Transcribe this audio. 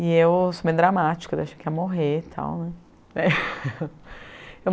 E eu sou bem dramática, eu achei que ia morrer e tal né.